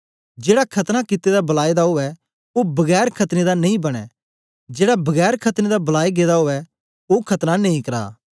जेड़ा खतना कित्ते दा बलाए दा उवै ओ बगैर खतने दा नेई बनें जेड़ा बगैर खतने बलाया गेदा उवै ओ खतना नेई करा